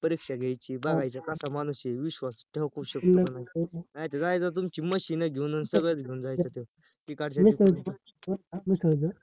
परीक्षा घ्यायची बघायच कसा माणूस आहे विश्वास ठेऊ शकतो का नाही नायतर जायचा तुमची machine घेऊन आणि सगळंच घेऊन जायचा तो